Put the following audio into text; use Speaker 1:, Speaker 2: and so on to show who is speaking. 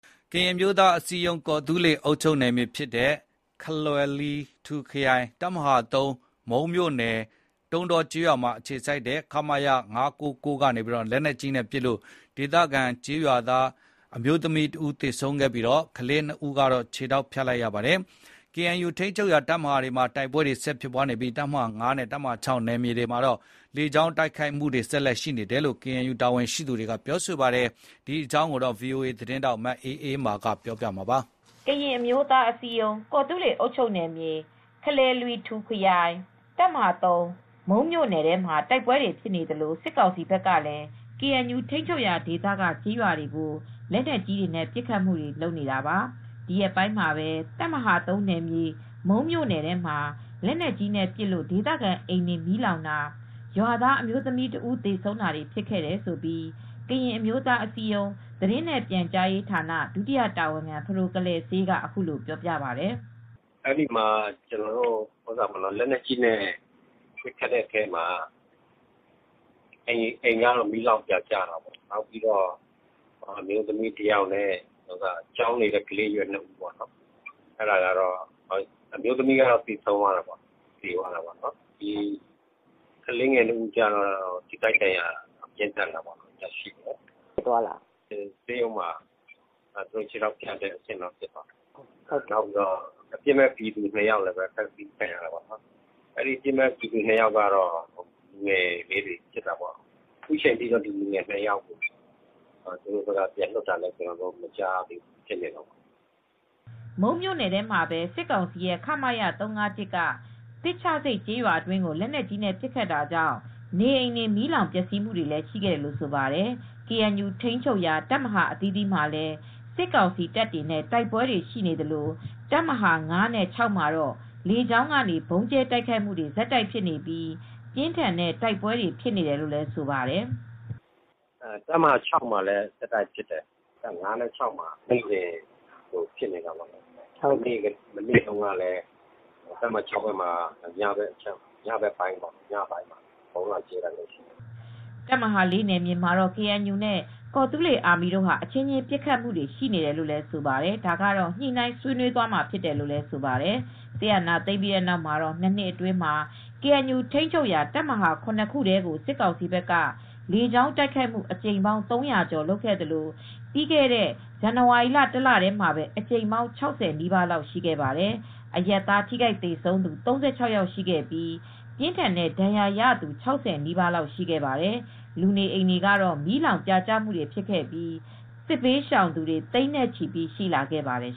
Speaker 1: ကရင်အမျိုးသားအစည်းအရုံး ကော်သူးလေအုပ်ချုပ်နယ်မြေ၊ ခလယ်လွီထူခရိုင် တပ်မဟာ(၃)၊ မုန်းမြို့နယ်၊ တုံးတောကျေးရွာမှာအခြေစိုက်ထားတဲ့ ခမရ ၅၉၉ကနေ လက်နက်ကြီးနဲ့ပစ်လို့ဒေသခံကျေးရွာသားအမျိုးသမီးတဦးသေဆုံးပြီး ကလေး ၂ဦးကတော့ ခြေထောက်ဖြတ်လိုက်ရပါတယ်။ ကေအန်ယူထိန်းချုပ်ရာ တပ်မဟာတွေမှာ တိုက်ပွဲတွေဆက်တိုက်ဖြစ်နေပြီး တပ်မဟာ(၅) နဲ့ (၆)နယ်မြေတွေမှာတော့ လြေကေကာင်းတိုက်ခိုက်မူတွေ ဆက်ရှိနေတယ်လို့ကေအန်ယူကပြောပါယတ်။ ဒီအကြောင်း ဗွီအိုအေသတင်းထောက် မအေးအေးမာက သတင်းပေးပို့ထားပါတယ်
Speaker 2: ။ ကရင်အမျိုးသားအစည်းအရုံး ကော်သူးလေအုပ်ချုပ်နယ်မြေ၊ ခလယ်လွီထူခရိုင် တပ်မဟာ(၃)၊ မုန်းမြို့နယ်ထဲမှာတိုက်ပွဲတွေဖြစ်နေသလို့စစ်ကောင်စီဘက်ကလည်း ကေအန်ယူထိန်းချုပ်ရာဒေသက ကျေးရွာတွေကိုလက်နက်ကြီးတွေနဲ့ပစ်ခတ်တာတွေလုပ်နေတာပါ ၊ဒီရက်ပိုင်းမှာပဲ တပ်မဟာ(၃)နယ်မြေ မုန်းမြို့နယ်ထဲမှာ လက်နက်ကြီးနဲ့ပစ်လို့ဒေသခံအိမ်တွေမီးလောင်တာ ရွာသားအမျိုးသမီးတဦးသေဆုံးတာတွေဖြစ်ခဲ့တယ်လို့ ကရင်အမျိုးသားအစည်းအရုံးသတင်းနဲ့ပြန်ကြားရေးဌာန ဒုတိယတာဝန်ခံ ဖဒိုကလယ်စေးကအခုလိုပြောပြပါတယ်။
Speaker 3: "အဲဒီမှာလက်နက်ကြီးနဲ့ပစ်ခတ်တာကြောင့် အိမ်တွေကတော့မီးလောင်ပြာကျတယ်။ အမျိုးသမီးတယောက်နဲ့ ကျောင်းနေကလေး ၂ဦးထိတယ်။ အမျိုးသမီးကတော့သေဆုံးသွားတယ်။ ကလေးငယ်တွေကတော့ ထိခိုက်ဒဏ်ရာရတယ်။ နောက်ဆုံးမှာကလေးတွေက ဆေးရုံမှာခြေထောက်ဖြတ်ရတယ်။ အပြစ်မဲ့ပြည်သူ ၂ဦးလည်းအဖမ်ဆီးခံရတယ်။ လူငယ်လေးတွေဖြစ်တာပေါ့။ အခုထိလည်း သူတို့ကို ပြန်မလွှတ်ပေးသေးဘူး တပ်မဟာ(၅)နဲ့(၆)မှာဆက်တိ
Speaker 2: ုက်ဖြစ်တယ်။" မုန်းမြို့နယ်ထဲမှာပဲ စစ်ကောင်စီရဲ့ခမရ-၃၅၁က သစ်ချဆိပ်ကျေးရွာတွင်းကို လက်နက်ကြီးနဲ့ပစ်ခတ်တာကြောင့် နေအိမ်တွေ မီးလောင်ပျက်စီးမှုတွေလည်းရှိခဲ့တယ်လို့ဆိုပါတယ်။ ကေအန်ယူထိန်းချုပ်ရာ တပ်မဟာအသီးသီးမှာလည်းစစ်ကောင်စီတပ်တွေနဲ့ တိုက်ပွဲတွေရှိနေသလို တပ်မဟာ(၅)နဲ့(၆)မှာတော့ လေကြောင်းကနေ ဗုံးကြဲတိုက်ခိုက်မူတွေဆက်တိုက်ဖြစ်နေပြီး ပြင်းထန်တဲ့တိုက်ပွဲတွေဖြစ်နေတယ်လို့လည်းဆိုပါတယ်
Speaker 3: ။ "တပ်မဟာ(၆)မှာလည်း ဆက်တိုက်ပစ်တယ်။ (၅)နဲ့ (၆)မှာ နေ့စဉ်လို ဖြစ်နေတာပေါ့နော်။ မနေ့တုန်းကလည်းတပ်မဟာ(၆)ဘက်မှာညဘက်ပိုင်းမှာဗုံးလာကြဲတာရှိတယ်
Speaker 2: " တပ်မဟာ(၄)နယ်မြေမှာတော့ကေအန်ယူနဲ့ ကော်သူူးလေအာမီတို့ဟာအချင်းအချင်းပစ်ခတ်မူတွေရှိနေတယ်လို့လည်းဆိုပါတယ်။ ဒါကတော့ညှိနှိုင်းဆွေးနွေးသွားမှာဖြစ်တယ်လို့လည်းဆိုပါတယ်။ စစ်အာဏာသိမ်းပြီးတဲ့နောက်မှာ ၂နှစ်အတွင်းမှာ ကေအန်ယူထိမ်းချုပ်ရာ တပ်မဟာ(၇)ခုထဲကို စစ်ကောင်စီဘက်က လေကြောင်းတိုက်ခိုက်မူ့အကြိမ်ပေါင်း ၃၀၀ကျော်လုပ်ခဲ့သလို့ပြီးခဲ့တဲ့ဇန်နဝါရီလ တလထဲမှာပဲအကြိမ်ပေါင်း၆၀ နီးပါးလောက် ရှိခဲ့ပါတယ်၊ အရပ်သားထိခိုက်သေဆုံးသူ ၃၆ယောက်ရှိခဲ့ပြီး ပြင်းထန်တဲ့ဒဏ်ရာရသူ ၆၀နီးပါးလောက်ရှိခဲ့ပါတယ်။ လူနေအိမ်တွေလည်း မီးလောင်ပြာကျမူတွေဖြစ်ခဲ့ပြီး စစ်ဘေးရှောင်သူတွေတွေ သိန်းနဲ့ချီပြီး ရှိလာခဲ့ပါတယ်